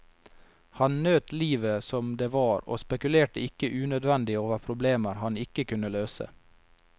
Han nøt livet som det var og spekulerte ikke unødvendig over problemer han ikke kunne løse.